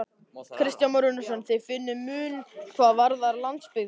Kristján Már Unnarsson: Þið finnið mun hvað varðar landsbyggðina?